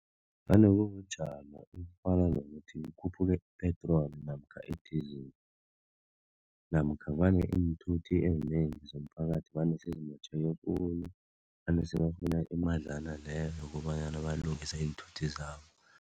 Vane kubujamo obufana nokuthi kukhuphuke i-petroli namkha i-diesel namkha vane iinthuthi ezinengi zomphakathi vane sezimotjheke khulu vane sebafuna imadlana leyo yokobanyana balungise iinthuthi zabo.